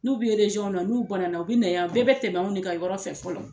N'u bɛ na n'u banana u bɛ na yan, u bɛɛ bɛ tɛmɛ an de ka yɔrɔ fɛ fɔlɔ.